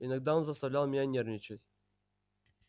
иногда он заставлял меня нервничать